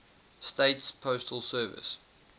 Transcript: states postal service